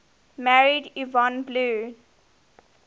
married yvonne blue